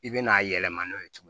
I bɛna a yɛlɛma n'o ye cogo min